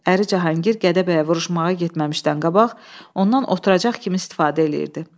Əri Cahangir Gədəbəyə vuruşmağa getməmişdən qabaq, ondan oturacaq kimi istifadə eləyirdi.